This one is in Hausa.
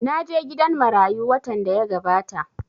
Na je gidan marayu watan da ya gabata